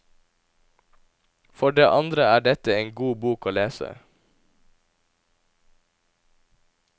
For det andre er dette en god bok å lese.